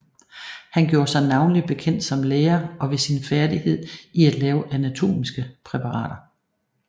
Han gjorde sig navnlig bekendt som lærer og ved sin færdighed i at lave anatomiske præparater